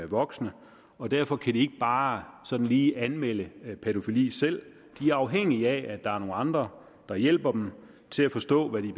voksne og derfor kan de ikke bare sådan lige anmelde pædofili selv de er afhængige af at der er nogle andre der hjælper dem til at forstå hvad de